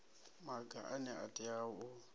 maga ane a tea u